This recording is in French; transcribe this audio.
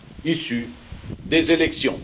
politique issue de son élection.